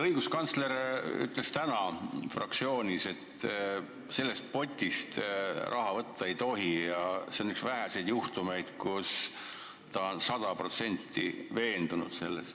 Õiguskantsler ütles täna fraktsioonis, et sellest potist raha võtta ei tohi ja et see on üks väheseid juhtumeid, kus ta on selles sada protsenti veendunud.